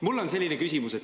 Mul on selline küsimus.